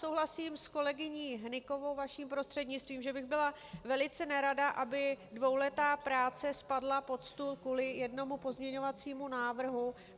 Souhlasím s kolegyní Hnykovou vaším prostřednictvím, že bych byla velice nerada, aby dvouletá práce spadla pod stůl kvůli jednomu pozměňovacímu návrhu.